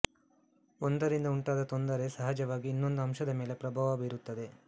ಒಂದರಿಂದ ಉಂಟಾದ ತೊಂದರೆ ಸಹಜವಾಗಿ ಇನ್ನೊಂದು ಅಂಶದ ಮೇಲೆ ಪ್ರಭಾವ ಬೀರುತ್ತದೆ